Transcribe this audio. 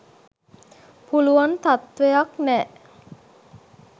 පුළුවන් තත්ත්වයක් නෑ